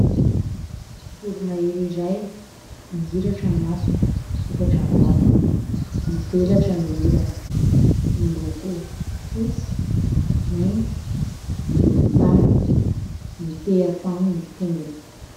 Voro-mahery iray, mihiratra ny masony, misokatra ny vavany, mivelatra ny elany ; miloko fotsy, mainty, volon-tany ; mitehan-tany ny tongony.